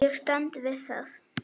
Ég stend við það.